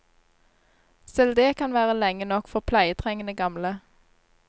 Selv dét kan være lenge nok for pleietrengende gamle.